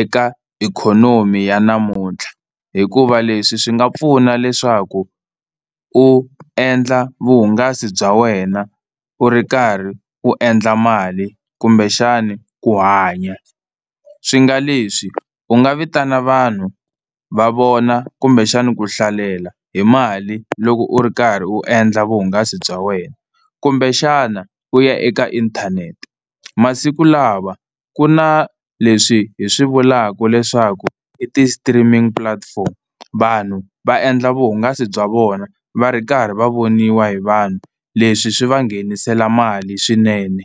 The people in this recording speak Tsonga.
eka ikhonomi ya namuntlha, hikuva leswi swi nga pfuna leswaku u endla vuhungasi bya wena u ri karhi u endla mali kumbexani ku hanya. Swi nga leswi u nga vitana vanhu va vona kumbexani ku hlalela hi mali loko u ri karhi u endla vuhungasi bya wena. Kumbexana u ya eka inthanete, masiku lawa ku na leswi hi swi vulaka leswaku i ti-streaming platforms vanhu va endla vuhungasi bya vona va ri karhi va voniwa hi vanhu leswi swi va nghenisela mali swinene.